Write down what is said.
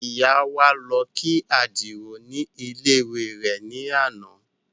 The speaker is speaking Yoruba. Ìyá wa lọ kí Àdìó ní ilé ìwé rẹ̀ ní àná